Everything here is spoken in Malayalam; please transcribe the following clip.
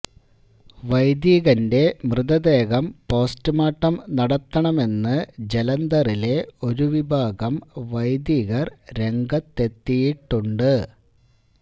വൈദികന്റെ മൃതദേഹം പോസ്റ്റുമോര്ട്ടം നടത്തണമെന്ന് ജലന്ധറിലെ ഒരു വിഭാഗം വൈദികര് രംഗത്തെത്തിയിട്ടുണ്ട്